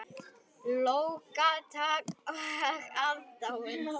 Lófatak og aðdáun.